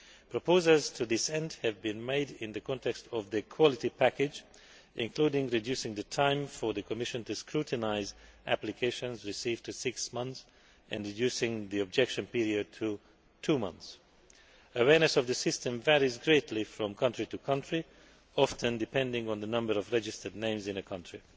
Proposals to this end have been made in the context of the Quality Package, including reducing the time for the Commission to scrutinise applications received to six months and reducing the objection period to two months. Awareness of the system varies greatly from country to country, often depending on the number of registered names in a country.